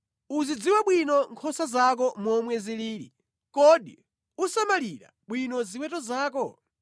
Uzidziwe bwino nkhosa zako momwe zilili. Kodi usamalire bwino ziweto zako?